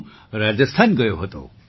તો હું રાજસ્થાન ગયો હતો